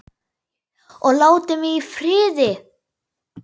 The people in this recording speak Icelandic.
Og láti mig í friði.